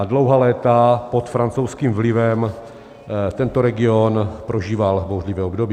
A dlouhá léta pod francouzským vlivem tento region prožíval bouřlivé období.